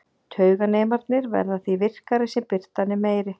Tauganemarnir verða því virkari sem birtan er meiri.